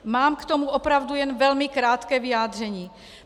Mám k tomu opravdu jen velmi krátké vyjádření.